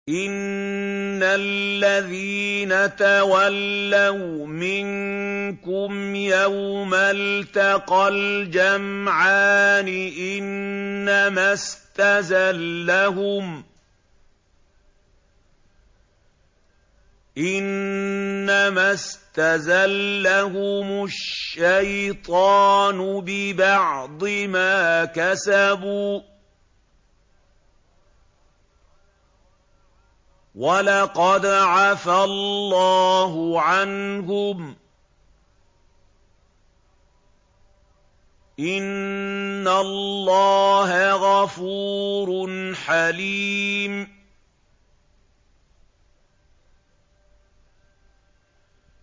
إِنَّ الَّذِينَ تَوَلَّوْا مِنكُمْ يَوْمَ الْتَقَى الْجَمْعَانِ إِنَّمَا اسْتَزَلَّهُمُ الشَّيْطَانُ بِبَعْضِ مَا كَسَبُوا ۖ وَلَقَدْ عَفَا اللَّهُ عَنْهُمْ ۗ إِنَّ اللَّهَ غَفُورٌ حَلِيمٌ